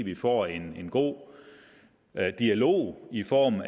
vi får en god dialog i form